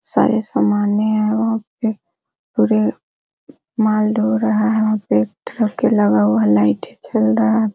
सारे समान माल ढो रहा है लाइट जल रहा है।